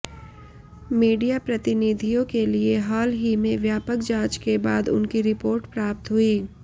media प्रतिनिधियों के लिए हाल ही में व्यापक जांच के बाद उनकी रिपोर्ट प्राप्त हुई